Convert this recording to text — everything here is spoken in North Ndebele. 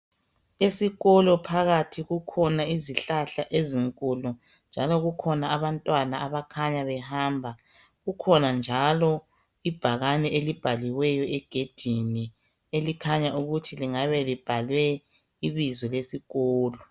Esikolo phakathi kukhona izihlahla ezinkulu njalo kukhona abantwana abakhanya behamba kukhona njalo ibhakane elibhaliweyo egedini elikhanya ukuthi lingabe libhalwe ibizo lesikolo.